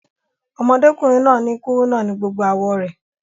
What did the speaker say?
Ọmọdékùnrin náà ni kúrúnà ni gbogbo àwọ̀ rẹ̀